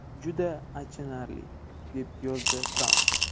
Juda achinarli!”, deb yozadi Tramp.